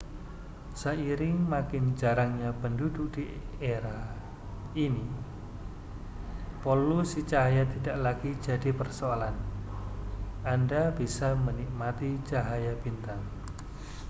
seiring makin jarangnya penduduk di area ini polusi cahaya tidak lagi jadi persoalan anda bisa menikmati cahaya bintang